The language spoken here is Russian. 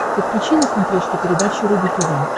подключи на смотрешке передачу рубль тв